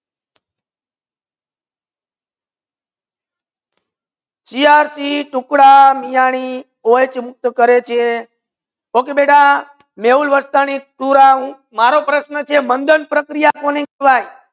છ્યાસી ટુકડા મીના ની ઓ મુક્ત કરે છે okay મેહુલ વરસાણી મારો પ્રશ્ર્ન છે મંધન પ્રકૃતિ કોને કહેવયે